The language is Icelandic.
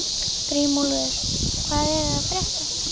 Grímúlfur, hvað er að frétta?